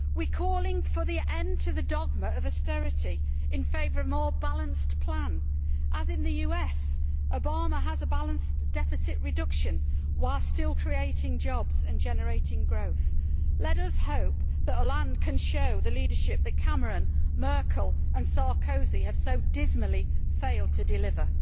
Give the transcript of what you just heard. We are calling for the end to the dogma of austerity in favour of a more balanced plan, as in the US Obama has a balanced deficit reduction while still creating jobs and generating growth. Let us hope that Hollande can show the leadership that Cameron, Merkel and Sarkozy have so dismally failed to deliver.